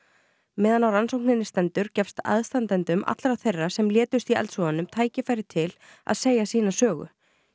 meðan á rannsókninni stendur gefst aðstandendum allra þeirra sem létust í eldsvoðanum tækifæri til að segja sína sögu